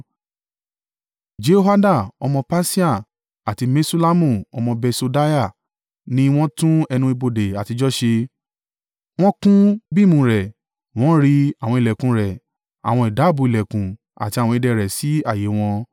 Jehoida ọmọ Pasea àti Meṣullamu ọmọ Besodeiah ni wọ́n tún ẹnu ibodè àtijọ́ ṣe. Wọ́n kún bíìmù rẹ̀, wọ́n ri àwọn ìlẹ̀kùn rẹ̀, àwọn ìdábùú ìlẹ̀kùn àti àwọn ìdè rẹ̀ sí ààyè wọn.